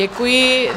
Děkuji.